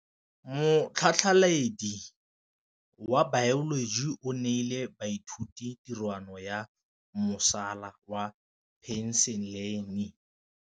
Motlhatlhaledi wa baeloji o neela baithuti tirwana ya mosola wa peniselene.